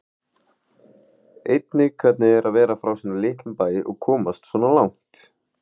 Einnig hvernig er að vera frá svona litlum bæ og komast svona langt?